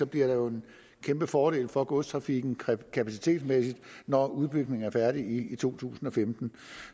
bliver en kæmpe fordel for godstrafikken kapacitetsmæssigt når udbygningen er færdig i to tusind og femten